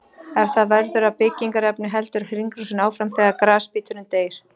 Ef það verður að byggingarefni heldur hringrásin áfram þegar grasbíturinn deyr.